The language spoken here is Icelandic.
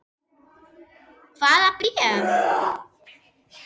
Hvaða bréf?